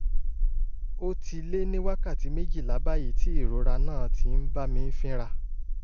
ó ti lé ní wákàtí méjìlá báyìí tí ìrora náà ti ń bá mi fínra